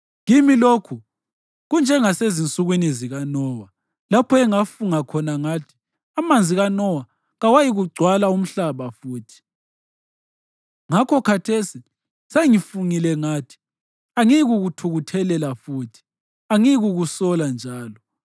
“Kimi lokhu kunjengasezinsukwini zikaNowa, lapho engafunga khona ngathi amanzi kaNowa kawayikugcwala umhlaba futhi. Ngakho khathesi sengifungile ngathi angiyikukuthukuthelela futhi; angiyikukusola njalo.